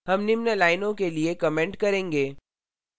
हम निम्न लाइनों के लिए comment करेंगे